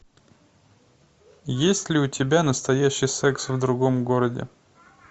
есть ли у тебя настоящий секс в другом городе